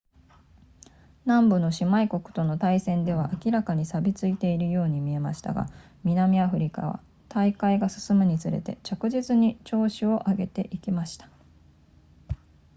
南部の姉妹国との対戦では明らかに錆びついているように見えましたが南アフリカは大会が進むにつれて着実に調子を上げていきました